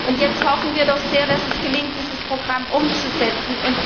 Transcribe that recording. Und jetzt hoffen wir doch sehr, dass es gelingt, dieses Programm umzusetzen.